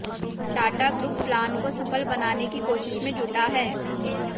Tata group plan को सफल बनाने की कोशिश में जुटा है